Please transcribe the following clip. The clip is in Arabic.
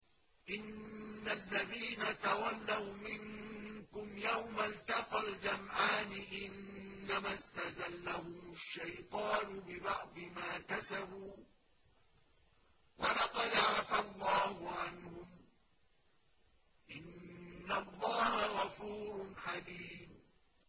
إِنَّ الَّذِينَ تَوَلَّوْا مِنكُمْ يَوْمَ الْتَقَى الْجَمْعَانِ إِنَّمَا اسْتَزَلَّهُمُ الشَّيْطَانُ بِبَعْضِ مَا كَسَبُوا ۖ وَلَقَدْ عَفَا اللَّهُ عَنْهُمْ ۗ إِنَّ اللَّهَ غَفُورٌ حَلِيمٌ